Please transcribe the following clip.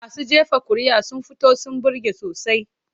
Masu jefa kuri'a sun fito sun burge sosai.